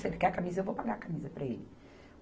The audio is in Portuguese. Se ele quer a camisa, eu vou pagar a camisa para ele.